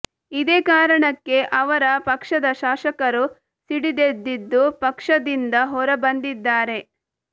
ಇದೇ ಕಾರಣಕ್ಕೆ ಅವರ ಪಕ್ಷದ ಶಾಸಕರು ಸಿಡಿದೆದ್ದಿದ್ದು ಪಕ್ಷದಿಂದ ಹೊರ ಬಂದಿದ್ದಾರೆ